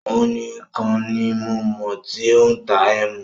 Ọún ní kàn ni mo mọ tí o n tà ẹ̀mú